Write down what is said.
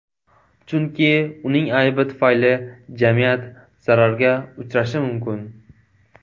Chunki uning aybi tufayli jamiyat zararga uchrashi mumkin.